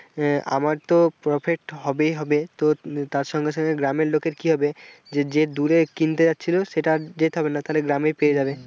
আহ আমার তো profit হবেই হবে তো তার সঙ্গে সঙ্গে গ্রামের লোকের কি হবে যে যে দূরে কিনতে যাচ্ছিল সেটা যেতে হবে না তালে গ্রামে পেয়ে যাবে।